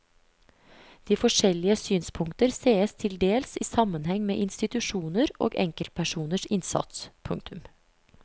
De forskjellige synspunkter sees til dels i sammenheng med institusjoner og enkeltpersoners innsats. punktum